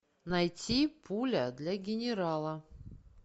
найти пуля для генерала